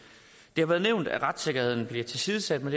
det har været nævnt at retssikkerheden bliver tilsidesat med